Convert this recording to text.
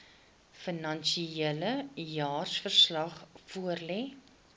finansiële jaarverslag voorlê